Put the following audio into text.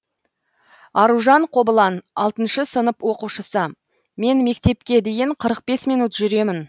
аружан қобылан алтыншы сынып оқушысы мен мектепке дейін қырық бес минут жүремін